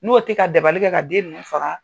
N'o tɛ ka dabalikɛ ka den ninnu faga!